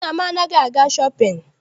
Nna m anaghị aga shọpịn.